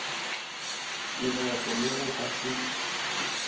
leboto le go ka se